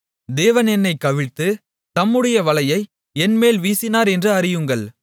தேவன் என்னைக் கவிழ்த்து தம்முடைய வலையை என்மேல் வீசினார் என்று அறியுங்கள்